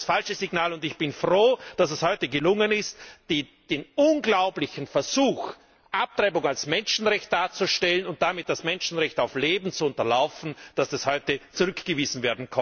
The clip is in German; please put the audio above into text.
Das ist das falsche Signal, und ich bin froh, dass es heute gelungen ist, den unglaublichen Versuch, Abtreibung als Menschenrecht darzustellen und damit das Menschenrecht auf Leben zu unterlaufen, zurückzuweisen.